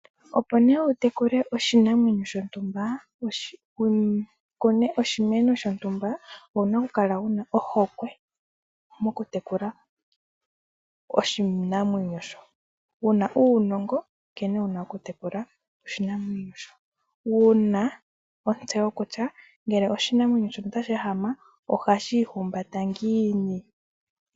Opo nee wutekule oshinamwenyo shontumba nenge wukune oshimeno shontumba owuna okukala wuna ohokwe mokutekula oshinamwenyo sho. Wuna uunongo wo kutekula oshinamwenyo sho, wuna otsewo kutya ngele oshinamwenyo shoka otashi ehama ohashi iihumbata ngiini.